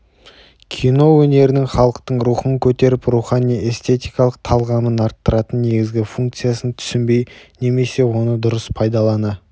кино өнерінің халықтың рухын көтеріп рухани-эстетикалық талғамын арттыратын негізгі функциясын түсінбей немесе оны дұрыс пайдалана